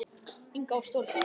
Inga var stóra systir mín.